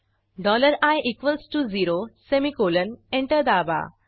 dollar i equals to zero semicolon enter दाबा